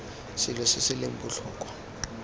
selo se se leng botlhokwa